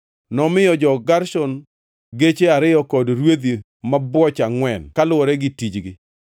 Nomiyo jo-Gershon geche ariyo kod rwedhi mabwoch angʼwen, kaluwore gi tijgi,